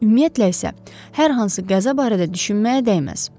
Ümumiyyətlə isə, hər hansı qəza barədə düşünməyə dəyməz.